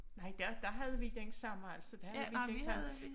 Nej der der havde vi den samme altså der havde vi den